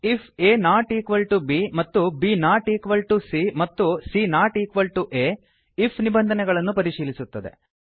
ifaಬ್ A not equal to B ಮತ್ತು ಬ್ C A B not equal to C ಮತ್ತು ಸಿಎ ಆ C not equal to A IF ನಿಬಂಧನೆಗಳನ್ನು ಪರಿಶೀಲಿಸುತ್ತದೆ